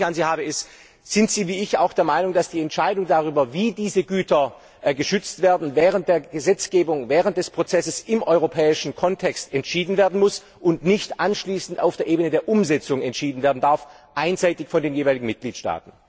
Die Frage, die ich an Sie habe, ist Sind Sie, wie ich, auch der Meinung, dass die Entscheidung darüber, wie diese Güter geschützt werden, während der Gesetzgebung, während des Prozesses im europäischen Kontext entschieden werden muss und nicht anschließend auf der Ebene der Umsetzung einseitig von den jeweiligen Mitgliedstaaten entschieden werden darf?